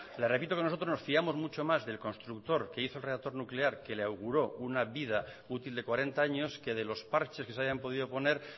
le repito que nosotros nos fiamos mucho más del constructor que hizo el reactor nuclear que le auguró una vida útil de cuarenta años que de los parches que se hayan podido poner